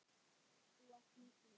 Þú varst nagli.